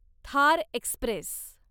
Thar Express